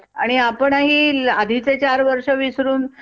आणि आपणही अ आधीचे चार वर्ष विसरून